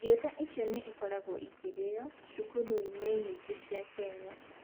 Irio ta icio nĩ ikoragwo ikĩrĩaga cukuru nyingĩ cia Kenya.